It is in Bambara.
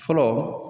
Fɔlɔ